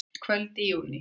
Kvöld í júní.